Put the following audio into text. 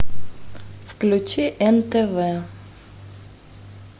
включи нтв